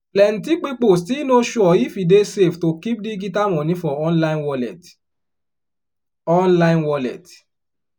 plenti pipo still no sure if e dey safe to keep digital money for online wallet. online wallet.